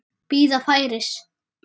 Bíða færis.